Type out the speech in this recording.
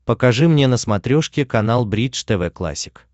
покажи мне на смотрешке канал бридж тв классик